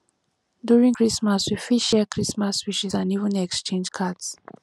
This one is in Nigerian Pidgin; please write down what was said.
during christmas we fit share christmas wishes and even exchange cards